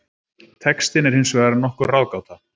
Textinn er hins vegar nokkur ráðgáta.